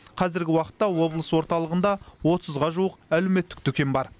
қазіргі уақытта облыс орталығында отызға жуық әлеуметтік дүкен бар